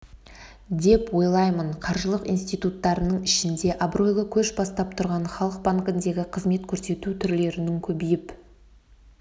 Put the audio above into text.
деп ойлаймын қаржылық институттардың ішінде абыройлы көш бастап тұрған халық банкіндегі қызмет көрсету түрлерінің көбейіп